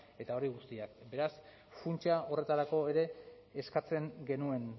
eta hori guztiaz beraz funtsa horretarako ere eskatzen genuen